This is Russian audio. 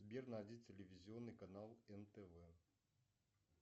сбер найди телевизионный канал нтв